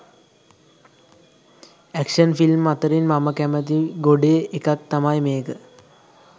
Action film අතරින් මම කැමති ගොඩේ එකක් තමයි මේක.